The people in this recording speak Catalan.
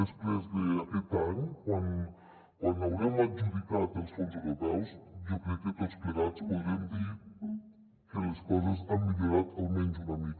després d’aquest any quan haurem adjudicat els fons europeus jo crec que tots plegats podrem dir que les coses han millorat almenys una mica